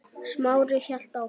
Smári hélt áfram.